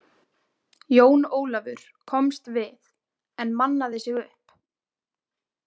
Jón Ólafur komst við, en mannaði sig upp.